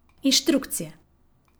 Inštrukcije.